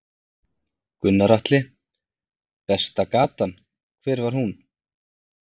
Gunnar Atli: Besta gatan, hver var hún?